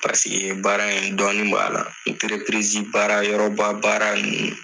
Paseke baara in dɔɔnin b'a la baara yɔrɔbaba baara ninnu